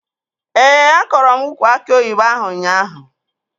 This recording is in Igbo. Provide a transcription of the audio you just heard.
Ee, akọrọ m ukwu aki oyibo ahụ ụnyaahụ